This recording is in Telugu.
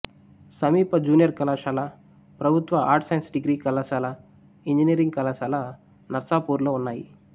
సమీప జూనియర్ కళాశాల ప్రభుత్వ ఆర్ట్స్ సైన్స్ డిగ్రీ కళాశాల ఇంజనీరింగ్ కళాశాల నర్సాపూర్లో ఉన్నాయి